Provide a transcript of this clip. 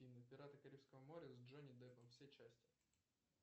пираты карибского моря с джонни деппом все части